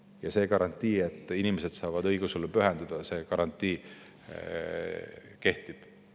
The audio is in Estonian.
Ja see garantii, et inimesed saavad õigeusule pühenduda, kehtib.